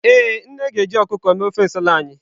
Ee, nne ga-eji ọkụkọ mee ofe nsala anyị.